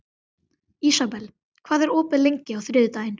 Ísabel, hvað er opið lengi á þriðjudaginn?